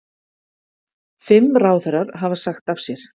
Fimm ráðherrar hafa sagt af sér